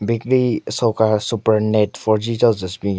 Bakery soka Super net fourG cho zushu binyon.